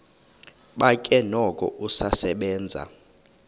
bakhe noko usasebenza